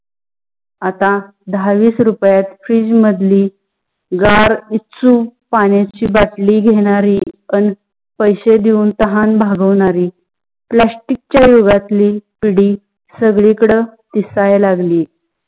आता दहा वीस रुपयात fridge मधली गार इच्छू पानायाची बोटली घेनारी, अं पैसे देऊं तहान भागवणारी plastic च्य युगातली पिडी सगडी कड दिसायला लागली.